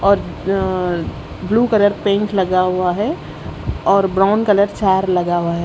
और अं blue colour paint लगा हुआ है और ब्राउन कलर चार लगा हुआ है।